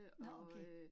Nåh okay